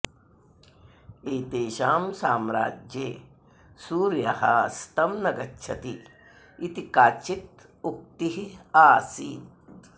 एतेषां साम्राज्ये सूर्यः अस्तं न गच्छति इति काचित् उक्तिः आसीत्